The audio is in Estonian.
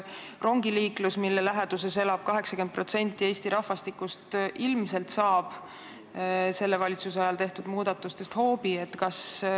Rongiliiklus, mille läheduses elab 80% Eesti rahvastikust, ilmselt saab selle valitsuse ajal tehtud muudatuste tõttu hoobi.